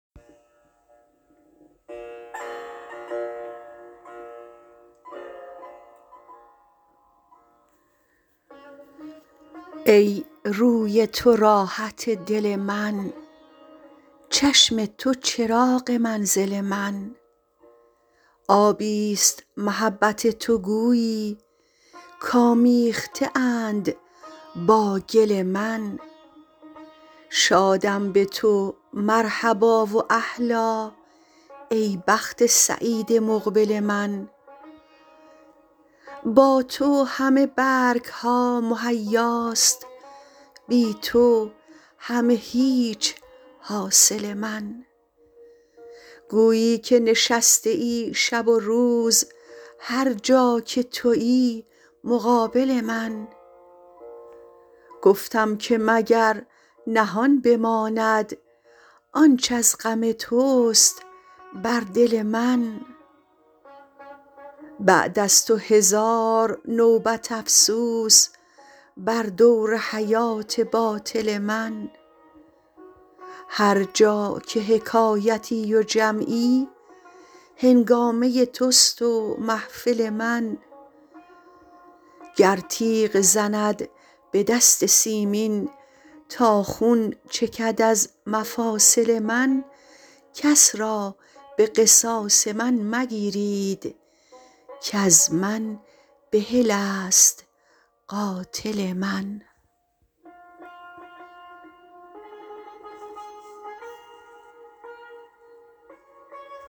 ای روی تو راحت دل من چشم تو چراغ منزل من آبی ست محبت تو گویی کآمیخته اند با گل من شادم به تو مرحبا و اهلا ای بخت سعید مقبل من با تو همه برگ ها مهیاست بی تو همه هیچ حاصل من گویی که نشسته ای شب و روز هر جا که تویی مقابل من گفتم که مگر نهان بماند آنچ از غم توست بر دل من بعد از تو هزار نوبت افسوس بر دور حیات باطل من هر جا که حکایتی و جمعی هنگامه توست و محفل من گر تیغ زند به دست سیمین تا خون چکد از مفاصل من کس را به قصاص من مگیرید کز من بحل است قاتل من